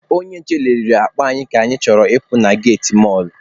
Onye nche nelere akpa anyị ka anyị chọrọ ịpụ na geti mọlụ.